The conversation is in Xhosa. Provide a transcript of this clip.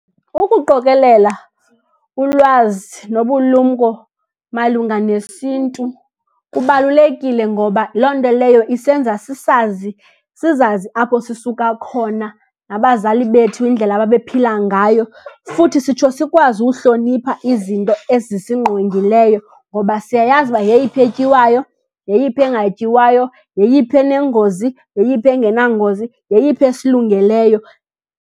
Ukuqokelela ulwazi nobulumko malunga nesiNtu kubalulekile. Ngoba loo nto leyo isenza sisazi, sizazi apho sisuka khona, nabazali bethu indlela ababephila ngayo. Futhi sitsho sikwazi uhlonipha izinto ezisingqongileyo ngoba siyayazi uba yeyiphi etyiwayo, yeyiphi engatyiwayo, yeyiphi enengozi, yeyiphi engenangozi, yeyiphi esilungeleyo.